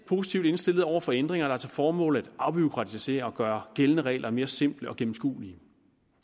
positivt indstillet over for ændringer der har til formål at afbureaukratisere og gøre gældende regler mere simple og gennemskuelige